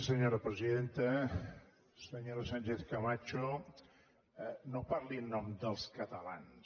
senyora sánchez camacho no parli en nom dels catalans